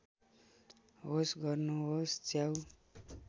होस गर्नुहोस् च्याउ